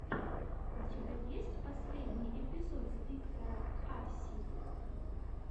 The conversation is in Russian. у тебя есть последний эпизод виктора а си